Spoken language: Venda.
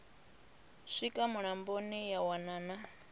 swika mulamboni ya wana na